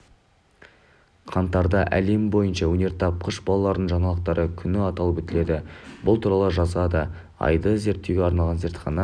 қаңтарда әлем бойынша өнертапқыш балалардың жаңалықтары күні аталып өтіледі бұл туралы жазады айды зерттеуге арналған зертхана